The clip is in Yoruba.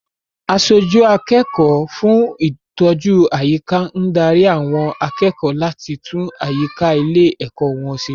Aṣojú akẹ́kọ̀ọ́ fún ìtọ́jú àyíká ń dárí àwọn akẹ́kọ̀ọ́ láti tún àyíká ilé-ẹ̀kọ́ wọn ṣe.